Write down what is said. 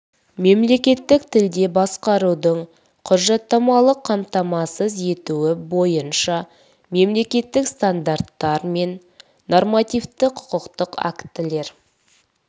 мемлекеттік тілде басқарудың құжаттамалық қамтамасыз етуі бойынша мемлекеттік стандарттар мен нормативтік құқықтық актілер